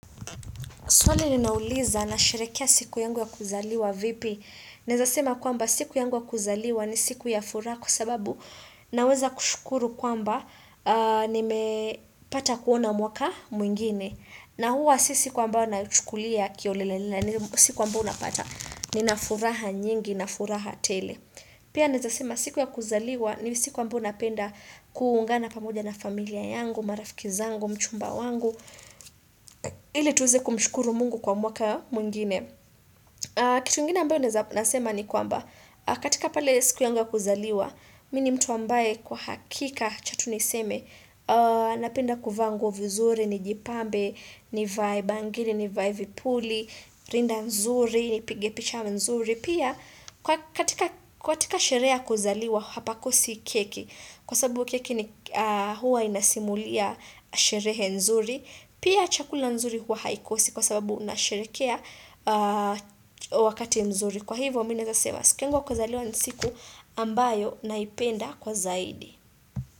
Swali ninauliza na sherekea siku yangu ya kuzaliwa vipi. Naeza sema kwamba siku yangu ya kuzaliwa ni siku ya furaha kwasababu naweza kushukuru kwamba nimepata kuona mwaka mwingine. Siku ambayo naichukulia kiholelaholela. Siku ambayo unapata. Nina furaha nyingi na furaha tele. Pia naeza sema siku ya kuzaliwa. Ni siku ambayo unapenda kuungana pamoja na familia yangu. Marafiki zangu Mchumba wangu. Ile tuweze kumshukuru mungu kwa mwaka mwingine. Kitu ingine ambayo nasema ni kwamba. Katika pale siku yangu ya kuzaliwa. Mi ni mtu ambaye kwa hakika acha tu niseme Napenda kuvaa nguo vizuri ni jipambe nivae bangiri nivae vipuli Rinda nzuri ni pige picha mzuri Pia katika sherehe ya kuzaliwa hapakosi keki Kwa sababu keki huwa inasimulia sherehe nzuri Pia chakula nzuri huwa haikosi kwa sababu unasherekea wakati mzuri Kwa hivyo, mimi naeza sema, siku yangu ya kuzaliwa siku ambayo naipenda kwa zaidi.